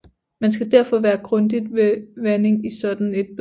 Man skal derfor være grundig med vanding i et sådant bed